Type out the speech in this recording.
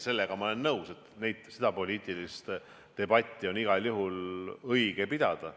Sellega ma olen nõus, et seda poliitilist debatti on igal juhul õige pidada.